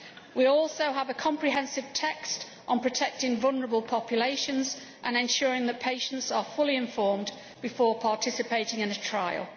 We also have a comprehensive text on protecting vulnerable populations and ensuring that patients are fully informed before participating in a trial.